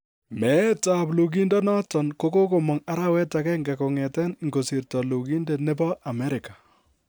Meet ab lugindet noton ko kogomong arawet agenge kong'eten ingosirto lugindet nebo Amerika.